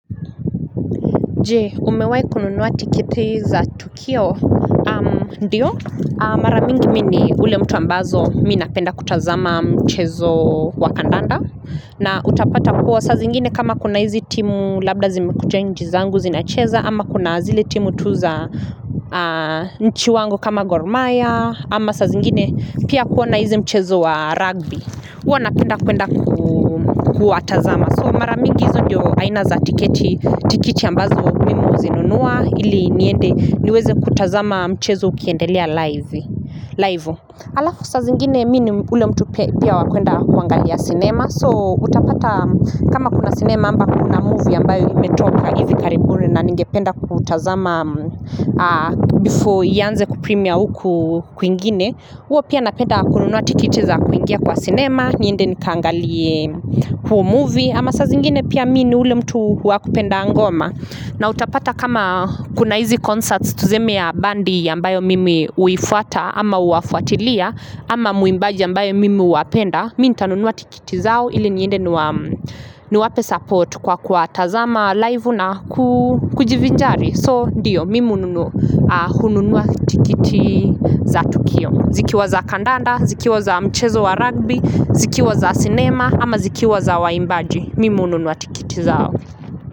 Jee, umewai kununuwa tiketi za Tukio, ndio. Maramingi mini ule mtu ambazo mi napenda kutazama mchezo wa kandanda. Na utapata kuwa sa zingine kama kuna hizi timu labda zimekuja nchi zangu zinacheza ama kuna zile timu tuza nchi wangu kama gormaya ama sa zingine pia kuwa na hizi mchezo wa rugby. Uwa napenda kwenda kuwatazama. So mara mingi hizo ndiyo aina za tiketi, tikiti ambazo mimi huzinunua ili niende niweze kutazama mchezo ukiendelia live. Halafu saa zingine mimi ni ule mtu pia wa kwenda kuangalia sinema. So utapata kama kuna sinema ama kuna movie ambayo imetoka hivi karibuni na ningependa kutazama before ianze kupremiere huku kwingine. Huwa pia napenda kununua tiketi za kuingia kwa sinema niende nikaangalie huu movie ama saa zingine pia mimi ni ule mtu wa kupenda ngoma na utapata kama kuna hizi concerts tuseme ya bendi ambayo mimi huifuata ama huwafuatilia ama mwimbaji ambaye mimi huwapenda mimi nitanunua tiketi zao ili niende niwape support kwa kuwatazama live na kujivinjari. So ndiyo, mimi hununua tiketi za tukio, zikiwa za kandanda, zikiwa za mchezo wa rugby, zikiwa za sinema ama zikiwa za waimbaji. Mimi hununua tiketi zao.